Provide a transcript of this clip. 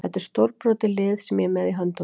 Þetta er stórbrotið lið sem ég er með í höndunum.